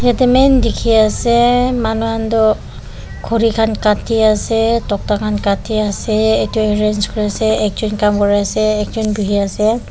yatey main dekhiase manu khan tu khori khan kati ase tokta khan katiase ek jon arrange koriase ek jon kam kuri ase ekjon bohi ase.